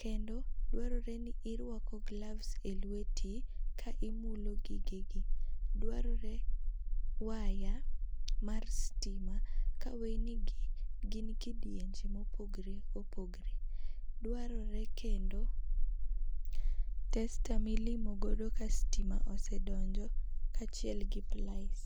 kendo dwarore ni irwako gloves e lweti ka imulo gige gi. Dwarore waya mar stima ka weyni gi gin kidienje ma opogore opogore. Dwarore kendo tester ma ibilo ka stima osedonjo kaachiel gi plais.